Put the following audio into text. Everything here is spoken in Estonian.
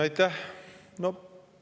Aitäh!